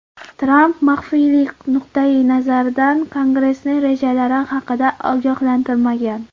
Tramp maxfiylik nuqtayi nazaridan Kongressni rejalari haqida ogohlantirmagan.